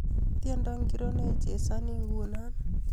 Tyendo ngori neichasani nguno